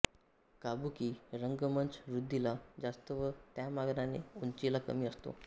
Kabuki रंगमंच रुंदीला जास्त व त्यामानाने उंचीला कमी असतो